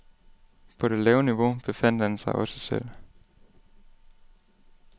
På det lave niveau befandt han sig også selv.